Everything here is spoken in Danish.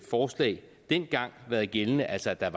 forslag dengang været gældende altså at der